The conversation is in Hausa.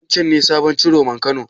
Wancen ne sabon Ciroman Kano?